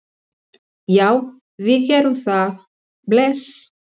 Já, við gerum það. Bless.